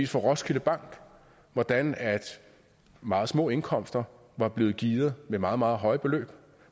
fra roskilde bank hvordan meget små indkomster var blevet gearet med meget meget høje beløb og